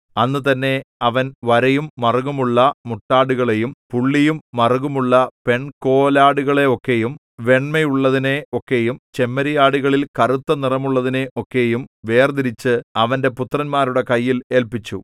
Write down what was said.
അന്നുതന്നെ അവൻ വരയും മറുകുമുള്ള മുട്ടാടുകളെയും പുള്ളിയും മറുകുമുള്ള പെൺകോലാടുകളെ ഒക്കെയും വെണ്മയുള്ളതിനെ ഒക്കെയും ചെമ്മരിയാടുകളിൽ കറുത്തനിറമുള്ളതിനെ ഒക്കെയും വേർതിരിച്ച് അവന്റെ പുത്രന്മാരുടെ കയ്യിൽ ഏല്പിച്ചു